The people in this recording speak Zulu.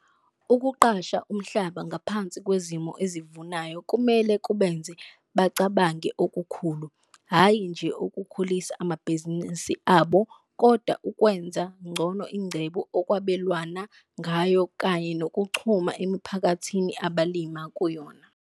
Ukuqasha umhlaba ngaphansi kwezimo ezivunayo kumele kubenze bacabange okukhulu, hhayi nje ukukhulisa amabhizinisi abo kodwa ukwenza ngcono ingcebo okwabelwana ngayo kanye nokuchuma emiphakathini abalima kuyona.